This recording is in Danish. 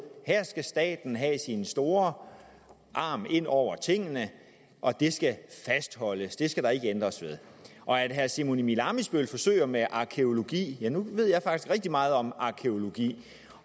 skal staten have sin store arm ind over tingene og det skal fastholdes det skal der ikke ændres ved og herre simon emil ammitzbøll forsøger med arkæologi ja nu ved jeg faktisk rigtig meget om arkæologi